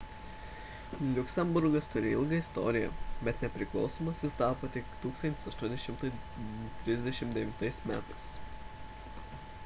liuksemburgas turi ilgą istoriją bet nepriklausomas jis tapo 1839 m